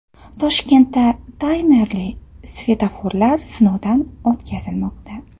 Toshkentda taymerli svetoforlar sinovdan o‘tkazilmoqda.